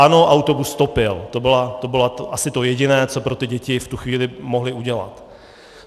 Ano, autobus topil, to bylo asi to jediné, co pro ty děti v tu chvíli mohli udělat.